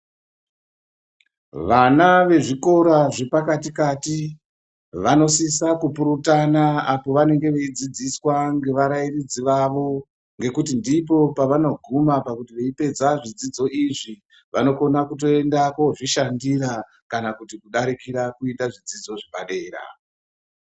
Vana vezvikora zvepakati kati vanosisa kupurutana apo vanenge veidzidziswa ngevarairidzi vavo ngekuti ndipo pavanoga pava veipedza zvidzidzo izvi vanokona kutoenda kozvishandira kana kuti kudarikira kuita zvidzidzo zvepadera.